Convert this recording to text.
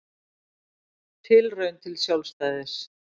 Tilraun til sjálfstæðis